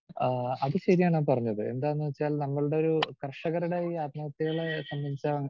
speaker 2 ആഹ് അത് ശരിയാണ് ആ പറഞ്ഞത് എന്താന്ന് വച്ചാൽ നമ്മൾ കർഷകരുടെ ഈ ആത്മഹത്യകളെ സംബന്ധിച്ച